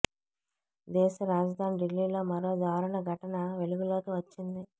దేశ రాజధాని ఢిల్లీలో మరో దారుణ ఘటన వెలుగులోకి వచ్చింది